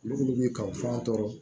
Olu bɛ kaw fɔ an tɔɔrɔ